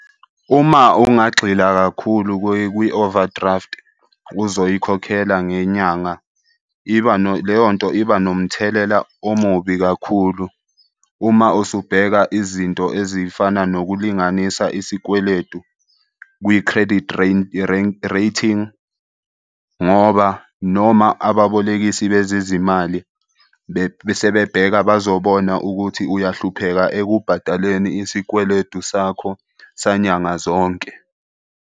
Uma ungagxila kakhulu kwi-overdraft, uzoyikhokhela ngenyanga iba leyo nto iba nomthelela omubi kakhulu. Uma usubheka izinto ezifana nokulinganisa isikweletu kwi-credit rating ngoba noma ababolekisi bezezimali sebebheka bazobona ukuthi uyahlupheka ekubhadaleni isikweletu sakho sanyanga zonke.